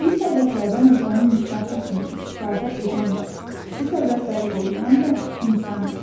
Təbii sərvətlərdən ölkənin inkişafı üçün istifadə edən də, bu sərvətləri qoruyan da insandır.